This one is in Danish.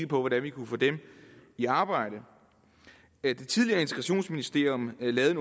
på hvordan vi kunne få dem i arbejde det tidligere integrationsministerium lavede